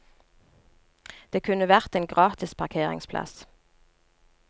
Det kunne vært en gratis parkeringsplass.